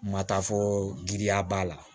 Matafɔ giriya b'a la